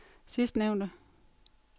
sidstnævnte